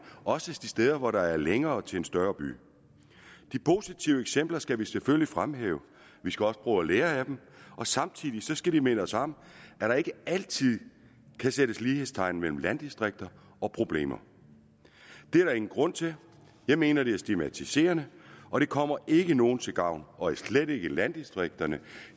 også de steder hvor der er længere til en større by de positive eksempler skal vi selvfølgelig fremhæve vi skal også prøve at lære af dem og samtidig skal de minde os om at der ikke altid kan sættes lighedstegn mellem landdistrikter og problemer det er der ingen grund til jeg mener det er stigmatiserende og det kommer ikke nogen til gavn og slet ikke landdistrikterne